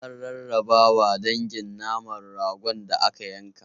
An rarrabawa dangin naman ragon da aka yanka.